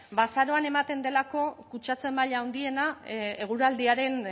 ba azaroan ematen delako kutsatze maila handiena eguraldiaren